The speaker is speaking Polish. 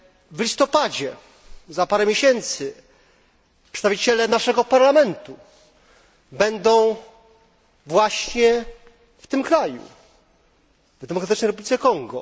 W listopadzie, juz za parę miesięcy, przedstawiciele naszego Parlamentu będą właśnie w tym kraju w Demokratycznej Republice Konga.